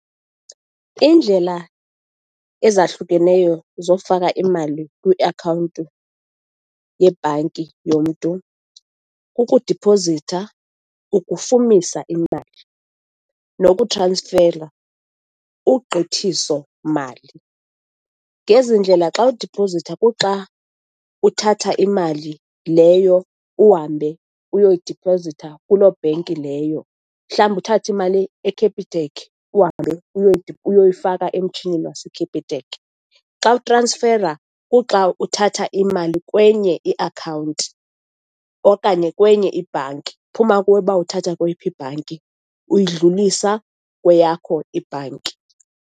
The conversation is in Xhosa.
Iindlela ezahlukeneyo zokufaka imali kwiakhawunti yebhanki yomntu kukudipozitha, ukufumisa imali, nokutransfera, ugqithiso mali. Ngezi ndlela xa udipozitha kuxa uthatha imali leyo uhambe uyoyidiphozitha kuloo bhenki leyo. Mhlawumbi uthathe imali eCapitec, uhambe uyoyifika emtshinini waseCapitec. Xa utransfera, kuxa uthatha imali kwenye iakhawunti okanye kwenye ibhanki, iphuma kuwe uba uthatha kweyiphi ibhanki, uyidlulisa kweyakho ibhanki.